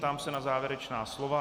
Ptám se na závěrečná slova.